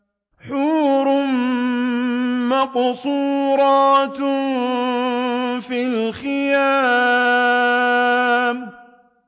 حُورٌ مَّقْصُورَاتٌ فِي الْخِيَامِ